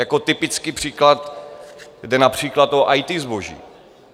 Jako typický příklad jde například o IT zboží.